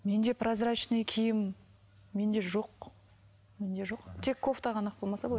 менде прозрачный киім менде жоқ менде жоқ тек кофта ғана ақ болмаса былай